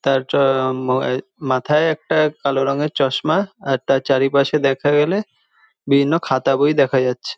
তার মাথায় একটা কালো রঙের চশমা আর তার চারিপাশে দেখা গেলে বিভিন্ন খাতা বই দেখা যাচ্ছে।